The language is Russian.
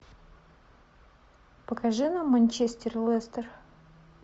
покажи нам манчестер лестер